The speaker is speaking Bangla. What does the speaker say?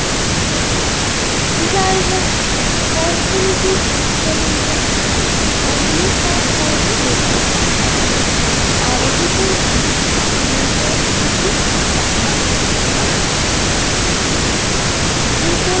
অর্থনীতির শেষ পর্যন্তু অন্য চার ধরণের বেকারত্বের দ্বারা আরকৃত একটি মুদ্রাস্ফীতি বাঁধা আঘাত করে যে পড়ি